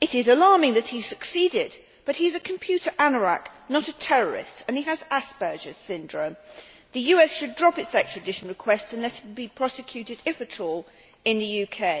It is alarming that he succeeded, but he is a computer anorak, not a terrorist, and he has Asperger's syndrome. The US should drop its extradition request and let him be prosecuted, if at all, in the UK.